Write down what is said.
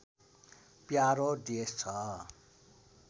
प्यारो देश छ